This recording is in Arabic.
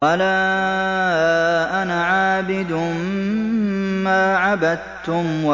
وَلَا أَنَا عَابِدٌ مَّا عَبَدتُّمْ